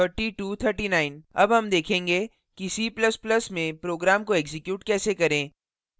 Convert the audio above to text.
अब हम देखेंगे कि c ++ में programs को एक्जीक्यूट कैसे करें